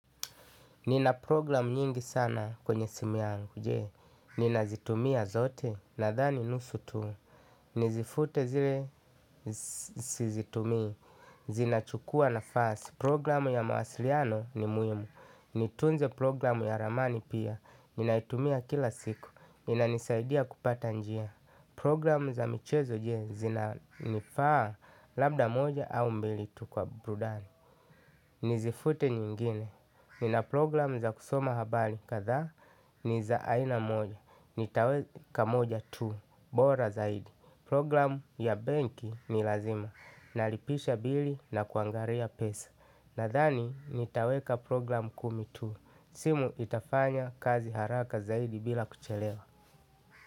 Nina programu nyingi sana kwenye simu yangu, je. Ninazitumia zote nadhani nusu tu. Nizifute zile, sizitumia, zinachukua nafasi. Programu ya mawasiliano ni muhimu. Nitunze programu ya ramani pia. Ninaitumia kila siku. Inanisaidia kupata njia. Programu za michezo, je, zina nifaa labda moja au mbili tu kwa burudani. Nizifute zingine nina programu za kusoma habari kadhaa ni za aina moja. Nitaweka moja tu. Bora zaidi program ya benki ni lazima. Nalipisha bili na kuangalia pesa. Nadhani nitaweka program kumi tu simu itafanya kazi haraka zaidi bila kuchelewa.